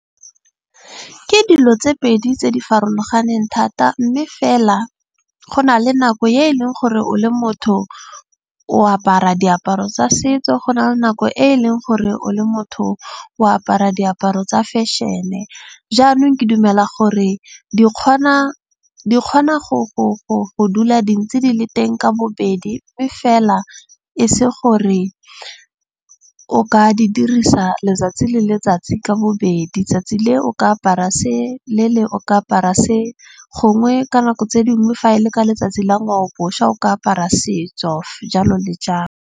Ke dilo tse pedi tse di farologaneng thata. Mme fela go na le nako e e leng gore o le motho o apara diaparo tsa setso. Go na le nako e e leng gore o le motho o apara diaparo tsa fashion-e. Jaanong ke dumela gore di kgona go dula dintsi di le teng ka bobedi. Mme fela e se gore o ka di dirisa letsatsi le letsatsi ka bobedi. Tsatsi le o ka apara se le leng o ka apara se. Gongwe ka nako tse dingwe fa e le ka letsatsi la ngwaoboswa o ka apara setso jalo le jalo.